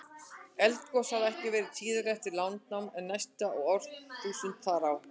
Eldgos hafa ekki verið tíðari eftir landnám en næstu árþúsund þar á undan.